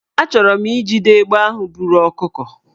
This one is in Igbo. Achọrọ m ijide egbe ahụ buru ọkụkọ